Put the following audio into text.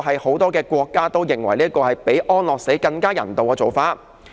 很多國家都認為這做法比安樂死更人道。